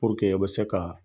aw be se ka